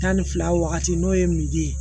Tan ni fila wagati n'o ye ye